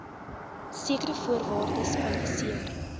sekere voorwaardes kwalifiseer